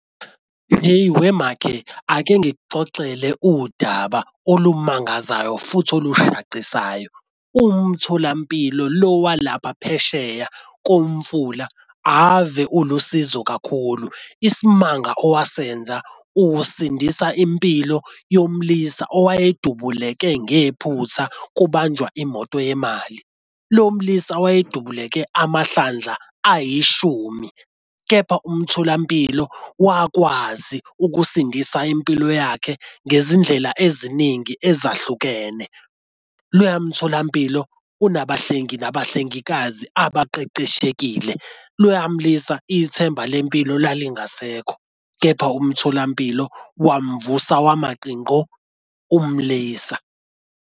Hheyi wemakhe ake ngikuxoxele udaba olumangazayo futhi olushaqisayo. Umtholampilo lo walapha phesheya komfula ave ulusizo kakhulu. Isimanga owasenza usindisa impilo yomlisa owayedubuleke ngephutha kubanjwa imoto yemali. Lo mlisa wayedubuleke amahlandla ayishumi, kepha umtholampilo wakwazi ukusindisa impilo yakhe ngezindlela eziningi ezahlukene. Loya mtholampilo unabahlengi nabahlengikazi abaqeqeshekile. Loya mlisa ithemba lempilo lalingasekho, kepha umtholampilo wamuvusa wama qinqo umlisa.